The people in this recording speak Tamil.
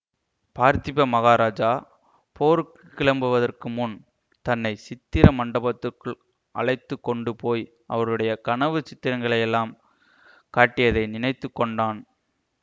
பார்த்திப மகாராஜா போருக்கு கிளம்புவதற்கு முன் தன்னை சித்திர மண்டபத்துக்குள் அழைத்து கொண்டு போய் அவருடைய கனவுச் சித்திரங்களையெல்லாம் காட்டியதை நினைத்து கொண்டான்